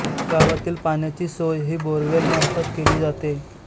गावातील पाण्याची सोय ही बोरवेल मार्फत केली जाते